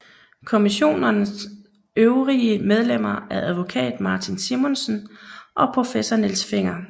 Kommissionens øvrige medlemmer er advokat Martin Simonsen og professor Niels Fenger